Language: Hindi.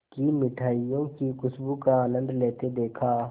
की मिठाइयों की खूशबू का आनंद लेते देखा